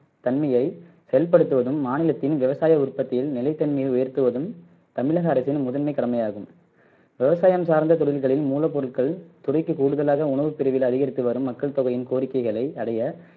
தன்மையை செயல்படுத்துவதும் மாநிலத்தின் விவசாய உற்பத்தியில் நிலை தன்மையை உயர்த்துவதும் தமிழக அரசின் முதன்மை கடமையாகும் விவசாயம் சார்ந்த தொழில்களின் மூலப்பொருள்கள் துறைக்கு கூடுதலாக உணவு பிரிவில் அதிகரித்து வரும் மக்கள் தொகையின் கோரிக்கைகளை அறிய